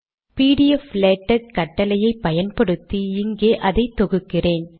பிடிஎஃப்லேடக் கட்டளையை பயன்படுத்தி இங்கே அதை தொகுக்கிறேன்